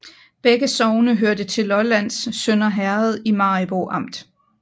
Begge sogne hørte til Lollands Sønder Herred i Maribo Amt